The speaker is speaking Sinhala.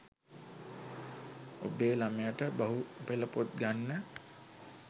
උබේ ළමයට බහු පෙළපොත් ගන්න